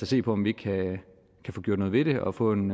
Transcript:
se på om vi ikke kan få gjort noget ved det og få en